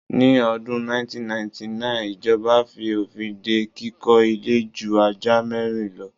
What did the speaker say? Ni ọdún 1999 ijọba fi òfin dé kíkọ ilé ju ajá mẹ́rin lo